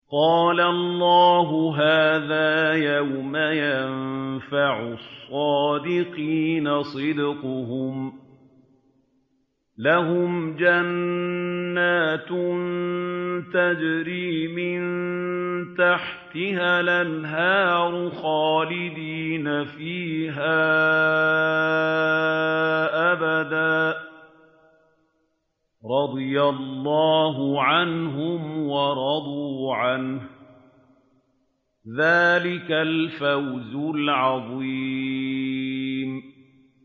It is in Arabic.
قَالَ اللَّهُ هَٰذَا يَوْمُ يَنفَعُ الصَّادِقِينَ صِدْقُهُمْ ۚ لَهُمْ جَنَّاتٌ تَجْرِي مِن تَحْتِهَا الْأَنْهَارُ خَالِدِينَ فِيهَا أَبَدًا ۚ رَّضِيَ اللَّهُ عَنْهُمْ وَرَضُوا عَنْهُ ۚ ذَٰلِكَ الْفَوْزُ الْعَظِيمُ